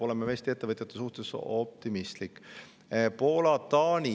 Olen ka Eesti ettevõtjate suhtes optimistlik.